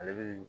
Ale bi